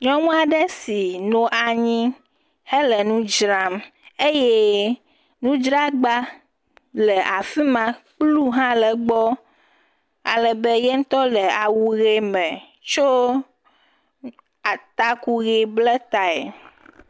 Nyɔnu aɖe si nɔ anyi hele nu dzram eye nudzragba le afi ma, kplu hã le gbɔ, alebe ye ŋutɔ le awu ʋe me tsɔ taku ble tae.